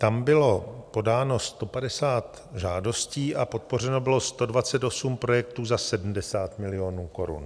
Tam bylo podáno 150 žádostí a podpořeno bylo 128 projektů za 70 milionů korun.